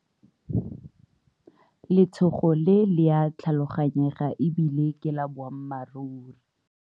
Letshogo le le a tlhaloganyega e bile ke la boammaruri.